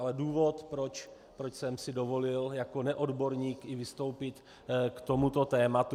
Ale důvod, proč jsem si dovolil jako neodborník i vystoupit k tomuto tématu.